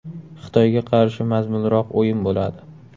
Xitoyga qarshi mazmunliroq o‘yin bo‘ladi.